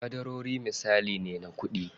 Ƙadarori misali ne na kuɗi.